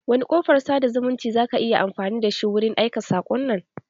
Wani kofar sada zumunci zaka yi amfani da shi wurin aika saƙon nan?